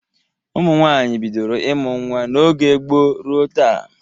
Ụmụ nwaanyị bidoro ịmụ nwa n'oge gboo ruo taa.